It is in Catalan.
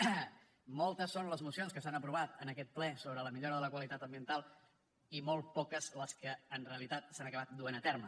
moltes són les mocions que s’han aprovat en aquest ple sobre la millora de la qualitat ambiental i molt poques les que en realitat s’han acabat duent a terme